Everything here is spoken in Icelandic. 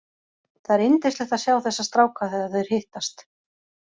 Það er yndislegt að sjá þessa stráka þegar þeir hittast.